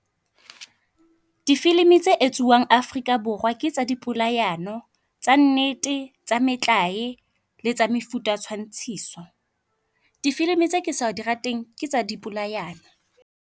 Difilm-i tse etsuwang Afrika Borwa ke tsa di polahano, tsa nnete, tsa metlae le tsa mefuta ya tshwantshiso. Difilm-i tse ke sa di rateng ke tsa di polayano.